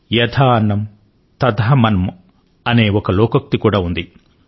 యథా అన్నం తథా మన్నం అనే ఒక లోకోక్తి కూడా ఉంది